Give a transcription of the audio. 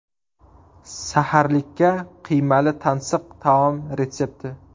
Saharlikka qiymali tansiq taom retsepti.